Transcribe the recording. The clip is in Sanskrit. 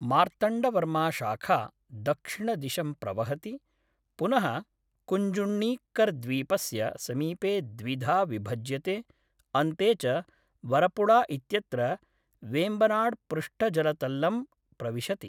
मार्तण्डवर्माशाखा दक्षिणदिशं प्रवहति, पुनः कुञ्जुण्णीक्करद्वीपस्य समीपे द्विधा विभज्यते, अन्ते च वरपुळा इत्यत्र वेम्बनाड्पृष्ठजलतल्लं प्रविशति।